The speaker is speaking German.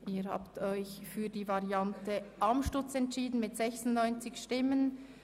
Sie haben dem Ordnungsantrag 10 von Grossrätin Amstutz zugestimmt.